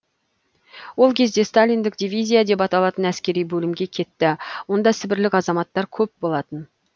ол кезде сталиндік дивизия деп аталатын әскери бөлімге кетті онда сібірлік азаматтар көп болатын